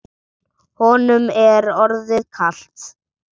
Honum er orðið kalt.